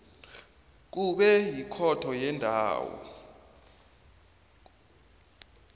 kube yikhotho yendawo